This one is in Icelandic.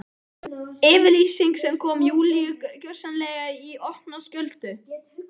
Yfirlýsing sem kom Júlíu gjörsamlega í opna skjöldu.